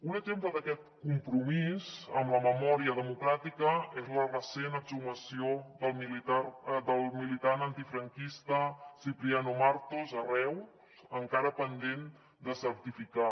un exemple d’aquest compromís amb la memòria democràtica és la recent exhumació del militant antifranquista cipriano martos a reus encara pendent de certificar